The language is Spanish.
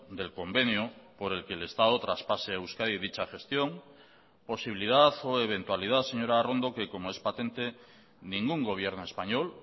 del convenio por el que el estado traspase a euskadi dicha gestión posibilidad o eventualidad señora arrondo que como es patente ningún gobierno español